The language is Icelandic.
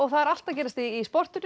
allt að gerast í sportinu